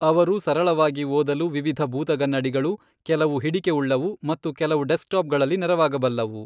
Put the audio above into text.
ಅವರು ಸರಳವಾಗಿ ಓದಲು ವಿವಿಧ ಭೂತಗನ್ನಡಿಗಳು, ಕೆಲವು ಹಿಡಿಕೆ ಉಳ್ಳವು, ಮತ್ತು ಕೆಲವು ಡೆಸ್ಕ್ಟಾಪ್ಗಳಲ್ಲಿ, ನೆರವಾಗಬಲ್ಲವು.